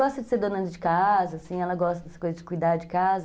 Gosta de ser dona de casa, assim, ela gosta dessa coisa de cuidar de casa.